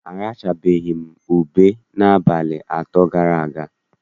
Arachabeghị m ube n'abalị atọ gara aga.